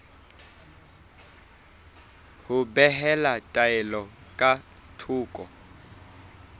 ho behela taelo ka thoko